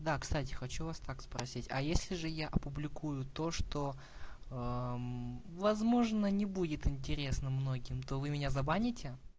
да кстати хочу вас так спросить а если же я опубликую то что возможно не будет интересно многим то вы меня забаните